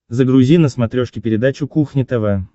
загрузи на смотрешке передачу кухня тв